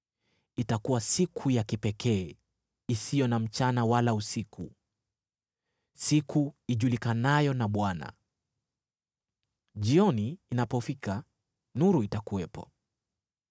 Itakuwa siku ya kipekee, isiyo na mchana wala usiku, siku ijulikanayo na Bwana . Jioni inapofika nuru itakuwepo.